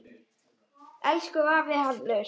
Elsku afi Hallur.